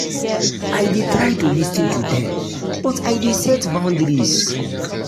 i dey try to lis ten to dem but i dey set boundaries.